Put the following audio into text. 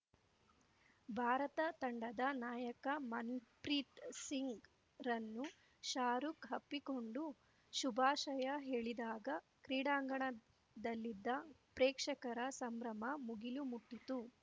ಭಾರತ ತಂಡದ ನಾಯಕ ಮನ್‌ಪ್ರೀತ್‌ ಸಿಂಗ್‌ರನ್ನು ಶಾರುಖ್‌ ಅಪ್ಪಿಕೊಂಡು ಶುಭಾಶಯ ಹೇಳಿದಾಗ ಕ್ರೀಡಾಂಗಣದಲ್ಲಿದ್ದ ಪ್ರೇಕ್ಷಕರ ಸಂಭ್ರಮ ಮುಗಿಲು ಮುಟ್ಟಿತು